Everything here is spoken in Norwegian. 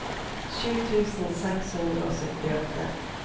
sju tusen seks hundre og syttiåtte